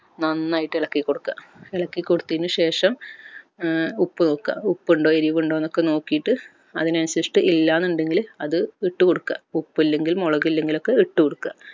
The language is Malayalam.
നന്നായിട്ട് എളക്കി കൊടുക്ക എളക്കി കൊടുത്തതിനുശേഷം ഏർ ഉപ്പ് നോക്ക ഉപ്പ് ഉണ്ടോ എരുവ് ഇണ്ടോ എന്ന് ഒക്കെ നോക്കിട്ട് അതിന് അൻസരിച്ചിട്ട് ഇല്ല എന്നുണ്ടങ്കിൽ അത് ഇട്ട് കൊടുക്ക ഉപ്പ് ഇല്ലെങ്കിൽ മൊളക് ഇല്ലെങ്കിൽ ഒക്കെ ഇട്ട് കൊടുക്ക